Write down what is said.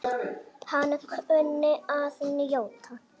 Hann kunni að njóta.